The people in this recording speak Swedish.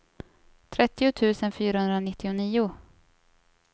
trettio tusen fyrahundranittionio